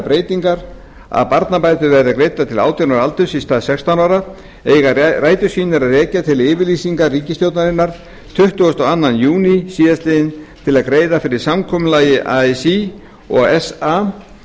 breytingar að barnabætur verði greiddar til átján ára aldurs í stað sextán ára eiga rætur sínar að rekja til yfirlýsingar ríkisstjórnarinnar tuttugasta og öðrum júní síðastliðinn til að greiða fyrir samkomulagi así og sa